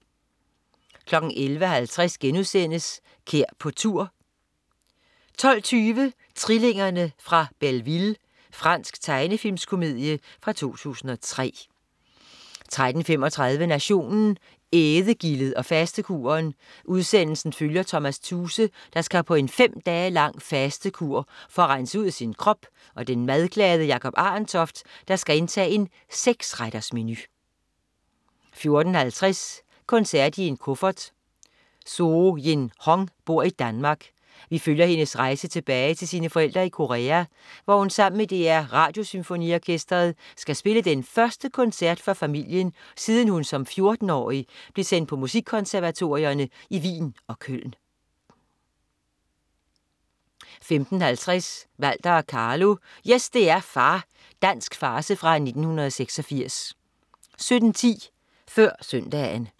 11.50 Kær på tur* 12.20 Trillingerne fra Belleville. Fransk tegnefilmskomedie fra 2003 13.35 Nationen. Ædegildet og fastekuren. Udsendelsen følger Tomas Thuse, der skal på en fem dage lang fastekur for at rense ud i sin krop, og den madglade Jacob Arentoft, der skal indtage en seksrettersmenu 14.50 Koncert i en kuffert. Soo-Jin Hong bor i Danmark. Vi følger hendes rejse tilbage til sine forældre i Korea, hvor hun sammen med DR Radiosymfoniorkestret skal spille den første koncert for familien, siden hun som 14-årig blev sendt på musikkonservatorierne i Wien og Köln 15.50 Walter og Carlo, yes, det er far. Dansk farce fra 1986 17.10 Før Søndagen